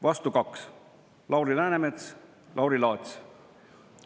Vastu 2: Lauri Läänemets, Lauri Laats.